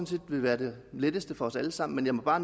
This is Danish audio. set vil være det letteste for os alle sammen men jeg må bare